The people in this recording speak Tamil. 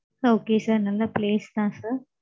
okay sir நல்ல place தான் sir